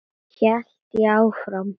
hélt ég áfram.